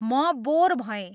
म बोर भएँ